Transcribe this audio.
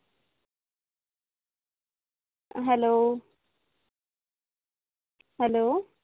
hello hello